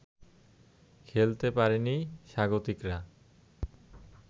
খেলতে পারেনি স্বাগতিকরা